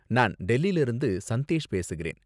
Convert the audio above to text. நான் டெல்லில இருந்து சந்தேஷ் பேசுகிறேன்.